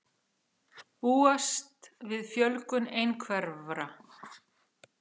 Búast við fjölgun einhverfra